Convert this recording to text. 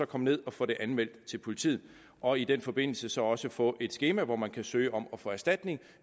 komme ned og få det anmeldt til politiet og i den forbindelse så også få et skema hvor man kan søge om at få erstatning